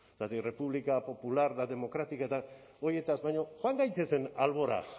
zergatik república popular eta democrática eta horietaz baina joan gaitezen albora